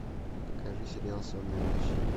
покажи сериал сонная лощина